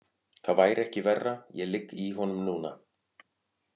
Það væri ekki verra, ég ligg í honum núna.